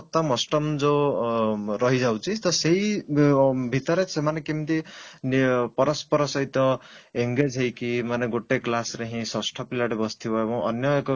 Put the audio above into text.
ଅଷ୍ଟମ ଯୋଉ ଅଂ ରହିଯାଉଛି ତ ସେଇଭିତରେ ଅଂ ସେମାନେ କେମିତି ପରସ୍ପର ସହିତ engage ହେଇକି ମାନେ ଗୋଟେ class ରେ ହିଁ ଷଷ୍ଠ ପିଲାଟେ ବସିଥିବ ଏବଂ ଅନ୍ୟ ଏକ